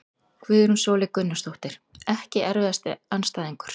Guðrún Sóley Gunnarsdóttir Ekki erfiðasti andstæðingur?